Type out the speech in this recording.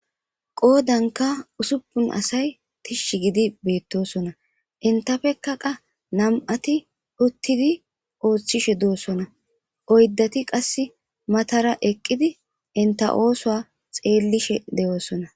Qodanka usupun asay tishi gidi betosona entappe qa nam'ati utidi othishe dosona oydati qasi matara eqidi enta osuwa xelishe de'osona.